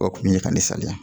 O kun ye ka ne saliya